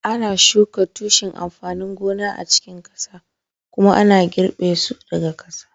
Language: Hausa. ana shuka tushen amfanin gona a cikin ƙasa kuma ana girbe su daga ƙasa